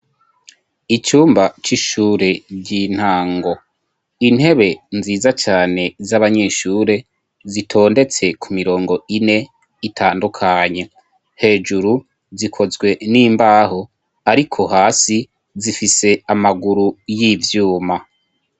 icumba c'ishure ry'intango intebe nziza cane z'abanyeshure zitondetse ku mirongo ine itandukanye, hejuru zikozwe n'imbaho ariko hasi zifise amaguru y'ivyuma.